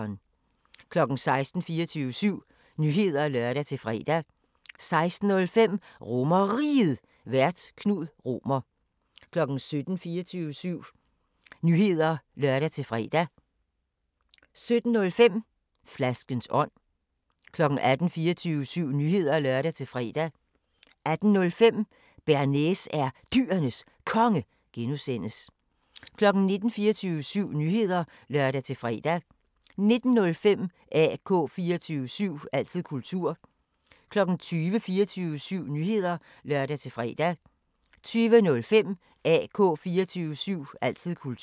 16:00: 24syv Nyheder (lør-fre) 16:05: RomerRiget, Vært: Knud Romer 17:00: 24syv Nyheder (lør-fre) 17:05: Flaskens ånd 18:00: 24syv Nyheder (lør-fre) 18:05: Bearnaise er Dyrenes Konge (G) 19:00: 24syv Nyheder (lør-fre) 19:05: AK 24syv – altid kultur 20:00: 24syv Nyheder (lør-fre) 20:05: AK 24syv – altid kultur